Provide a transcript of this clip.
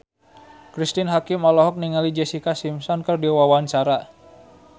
Cristine Hakim olohok ningali Jessica Simpson keur diwawancara